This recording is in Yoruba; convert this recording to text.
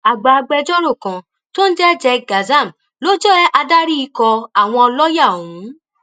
àgbà agbẹjọrò kan tó ń jẹ jek gadzam ló jẹ adarí ikọ àwọn lọọyà ọhún